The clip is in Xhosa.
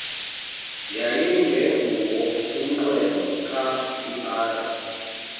yayingenguwo umnqweno kadr